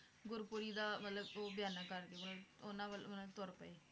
ਗੁਰਪੁਰੀ ਦਾ ਮਤਲਬ ਉਹ ਬਿਆਨਾ ਮਤਲਬ ਉਹਨਾਂ ਵੱਲ ਤੁਰ ਪਏ